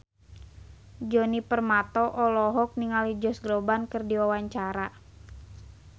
Djoni Permato olohok ningali Josh Groban keur diwawancara